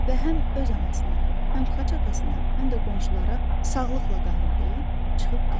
Və həm öz anasına, həm xaç atasına, həm də qonşulara "Sağlıqla qalın!" deyib, çıxıb getdi.